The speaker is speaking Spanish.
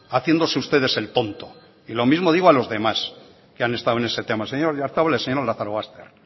haciéndose ustedes el tonto y lo mismo digo a los demás que han estado en ese tema al señor oyarzabal y al señor lazarobaster